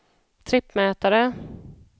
trippmätare